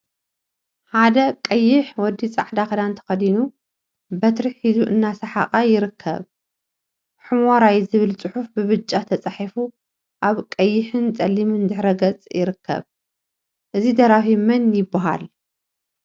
ሓደ ቀይሕ ወዲ ፃዕዳ ክዳን ተከዲኑ በትሪ ሒዙ እናሰሓቀ ይርከብ፡፡ ሑመራይ ዝብል ፅሑፍ ብብጫ ተፃሒፉ አብ ቀይሕን ፀሊምን ድሕረ ገፅ ይርከብ፡፡ እዚ ደራፊ መን ይበሃል?